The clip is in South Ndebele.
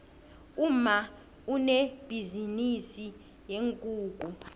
umma unebhizinisi yeenkukhu